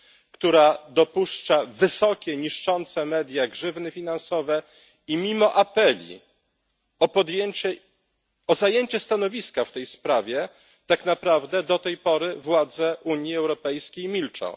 która dopuszcza wysokie, niszczące media, grzywny finansowe i mimo apeli o zajęcie stanowiska w tej sprawie, tak naprawdę do tej pory władze Unii Europejskiej milczą.